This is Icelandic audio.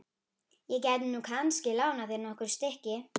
Ég gæti nú kannski lánað þér nokkur stykki.